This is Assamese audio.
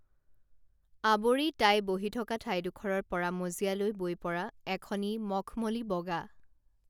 আৱৰি তাই বহি থকা ঠাইডোখৰৰ পৰা মজিয়ালৈ বৈ পৰা এখনি মখমলী বগা